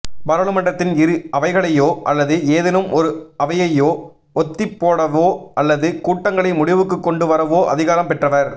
பாராளுமன்றத்தின் இரு அவைகளையோ அல்லது ஏதேனும் ஒரு அவையையோ ஒத்திப்போடவோ அல்லது கூட்டங்களை முடிவுக்குக் கொண்டு வரவோ அதிகாரம் பெற்றவர்